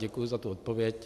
Děkuji za tu odpověď.